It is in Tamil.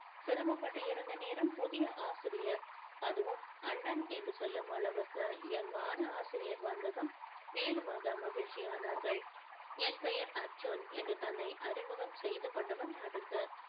சிரமப்பட்டிருந்த நேரம் புதிய ஆசிரியர் அதுவும் அண்ணன் என்று சொல்லும் அளவிற்கு young யான ஆசிரியர் வந்ததும் மேலுமாக மகிழ்ச்சியானார்கள் என் பெயர் அர்ஜீன் என்று தன்னை அறிமுகம் செய்து கொண்டவன் அடுத்து